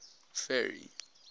ferry